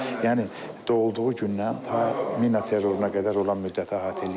Yəni doğulduğu gündən ta mina terroruna qədər olan müddəti əhatə eləyir.